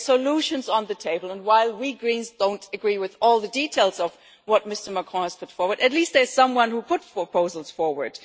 There are solutions on the table and, while we Greens don't agree with all the details of what Mr Macron has put forward, at least there is someone who has put proposals forward.